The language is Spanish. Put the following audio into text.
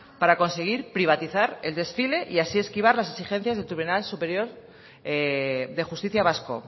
para conseguir privatizar el desfile y así esquivar las exigencias del tribunal superior de justicia vasco